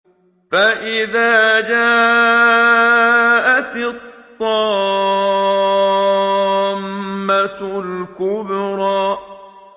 فَإِذَا جَاءَتِ الطَّامَّةُ الْكُبْرَىٰ